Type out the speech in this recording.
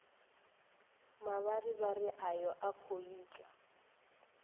mavharivhari ayo a khou itwa